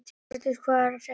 Hjördís, hvað er að frétta?